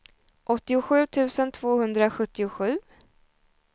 åttiosju tusen tvåhundrasjuttiosju